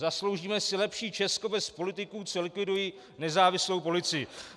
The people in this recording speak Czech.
Zasloužíme si lepší Česko bez politiků, co likvidují nezávislou policii.